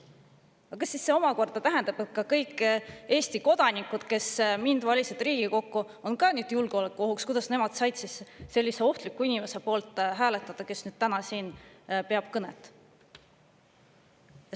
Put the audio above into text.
Aga kas see omakorda tähendab, et kõik Eesti kodanikud, kes valisid mind Riigikokku, on nüüd julgeolekuoht, sest kuidas nad said siis hääletada sellise ohtliku inimese poolt, kes täna siin kõnet peab?